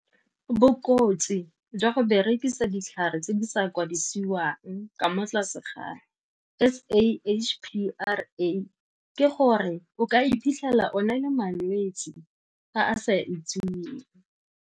Bokotsi jwa go berekisa ditlhare tse di sa kwadisiwang ka mo tlase ga S_A_H_P_R_A ke gore o ka iphitlhela o na le malwetse a a sa itseweng.